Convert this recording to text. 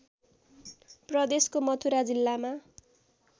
प्रदेशको मथुरा जिल्लामा